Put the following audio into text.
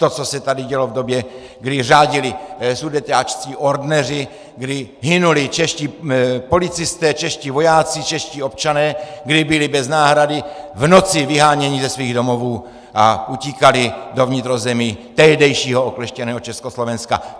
To, co se tady dělo v době, kdy řádili sudeťáčtí ordneři, kdy hynuli čeští policisté, čeští vojáci, čeští občané, kdy byli bez náhrady v noci vyháněni ze svých domovů a utíkali do vnitrozemí tehdejšího okleštěného Československa.